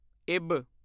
ਇਬ